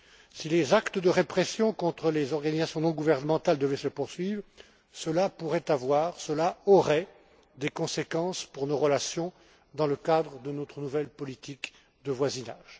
Si les actes de répression contre les organisations non gouvernementales devaient se poursuivre, cela pourrait avoir, cela aurait des conséquences pour nos relations dans le cadre de notre nouvelle politique de voisinage.